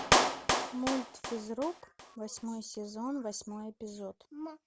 мульт физрук восьмой сезон восьмой эпизод